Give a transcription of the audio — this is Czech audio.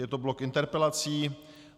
Je to blok interpelací.